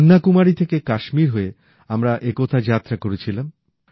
কন্যাকুমারী থেকে কাশ্মীর হয়ে আমরা একতা যাত্রা করেছিলাম